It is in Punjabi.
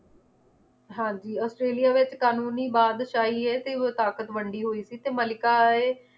ਹਾਂਜੀ ਔਸਟ੍ਰੇਲਿਆ ਦਾ ਇਕ ਕਾਨੂੰਨੀ ਬਾਦਸ਼ਾਹੀ ਏ ਤੇ ਹੋਰ ਤਾਕਤ ਵੰਡੀ ਹੋਈ ਸੀ ਤੇ ਮੱਲਿਕਾ ਏ